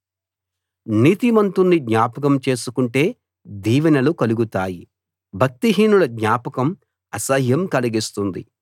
నీతిమంతుణ్ణి జ్ఞాపకం చేసుకుంటే దీవెనలు కలుగుతాయి భక్తిహీనుల జ్ఞాపకం అసహ్యం కలిగిస్తుంది